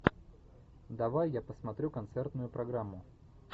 давай я посмотрю концертную программу